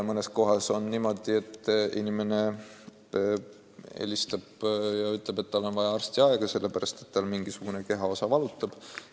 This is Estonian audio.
Mõnes kohas on niimoodi, et inimene helistab ja ütleb, et tal on vaja arstiaega, sest tal mingisugune kehaosa valutab.